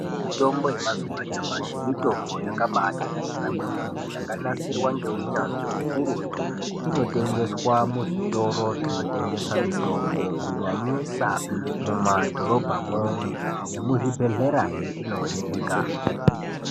Mitombo yemazuva anyamashi mitombo yakatinakira kwemene neunyanzvi ukurutu inotengeswa muzvitoro zvinotengeswa mitombo akutengesa mitombo kunyanyisa mumadhorobhamwo nemuzvibhedhlerahe inooneka.